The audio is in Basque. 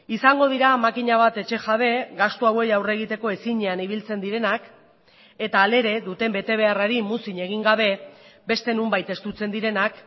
izango dira makina bat etxe jabe gastu hauei aurre egiteko ezinean ibiltzen direnak eta hala ere duten betebeharrari muzin egin gabe beste nonbait estutzen direnak